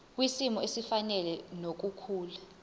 kwisimo esifanele nokukhula